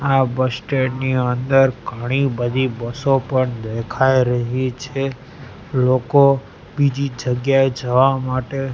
આ bus stand ની અંદર ઘણી બધી બસો પણ દેખાય રહી છે લોકો બીજી જગ્યાએ જવા માટે--